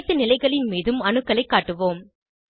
அனைத்து நிலைகளின் மீதும் அணுக்களைக் காட்டுவோம்